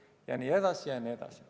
" Jne, jne.